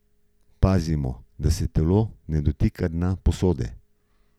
Pazimo, da se telo ne dotika dna posode.